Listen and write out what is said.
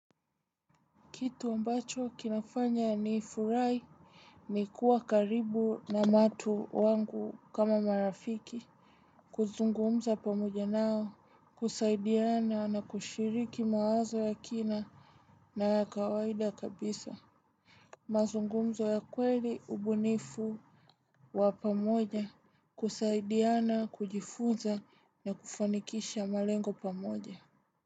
Kitu ambacho kinafanya nifurahi ni kuwa karibu na watu wangu kama marafiki. Kuzungumza pamoja nao, kusaidiana na kushiriki mawazo ya kina na kawaida kabisa. Mazungumzo ya kweli ubunifu wa pamoja, kusaidiana kujifunza na kufanikisha malengo pamoja.